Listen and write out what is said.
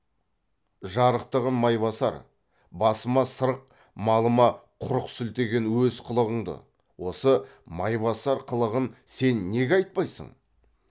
жарықтығым майбасар басыма сырық малыма құрық сілтеген өз қылығыңды осы майбасар қылығын сен неге айтпайсың